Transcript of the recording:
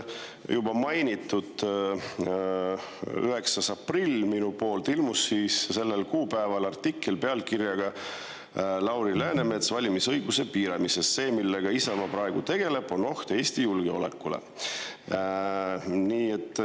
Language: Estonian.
Juba minu mainitud 9. aprillil ilmus artikkel pealkirjaga "Lauri Läänemets valimisõiguse piiramisest: see, millega Isamaa praegu tegeleb, on oht Eesti julgeolekule".